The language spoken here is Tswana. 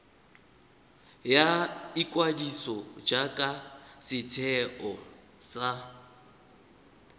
ya ikwadiso jaaka setheo sa